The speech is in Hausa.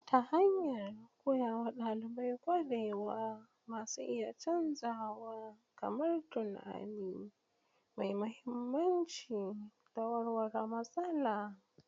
Ta hanyar koya wa ɗalibai ƙwarewa masu iya canzawa kamar tunani mai mahimmanci da warware matsala.